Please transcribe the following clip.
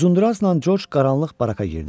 Uzundurazla George qaranlıq baraka girdi.